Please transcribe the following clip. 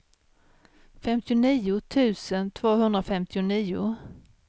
femtionio tusen tvåhundrafemtionio